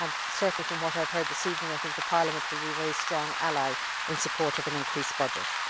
Certainly, from what I have heard this evening, I think that Parliament will be a very strong ally in support of an increased budget.